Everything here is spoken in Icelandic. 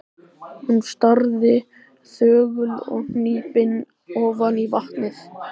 Hún starði þögul og hnípin ofan í vatnið.